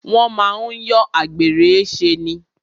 Wọ́n máa ń yọ àgbèrè ṣe ni.